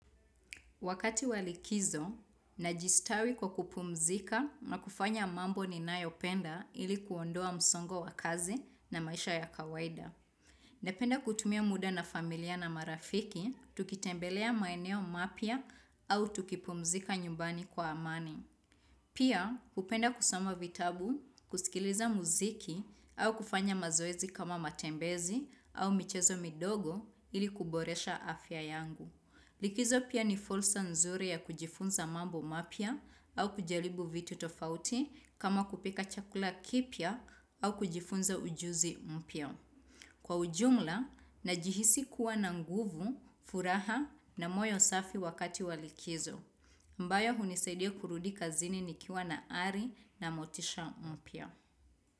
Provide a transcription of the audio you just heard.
Wakati wa likizo, najistawi kwa kupumzika na kufanya mambo ninayopenda ili kuondoa msongo wa kazi na maisha ya kawaida. Napenda kutumia muda na familia na marafiki, tukitembelea maeneo mapya au tukipumzika nyumbani kwa amani. Pia, hupenda kusama vitabu, kusikiliza muziki au kufanya mazoezi kama matembezi au michezo midogo ili kuboresha afya yangu. Likizo pia ni fulsa nzuri ya kujifunza mambo mapya au kujaribu vitu tofauti kama kupika chakula kipya au kujifunza ujuzi mpya. Kwa ujumla, najihisi kuwa na nguvu, furaha na moyo safi wakati wa likizo. Mbayo hunisaidia kurudi kazini nikiwa na ari na motisha mpya.